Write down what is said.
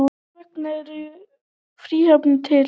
Hvers vegna eru fríhafnir til?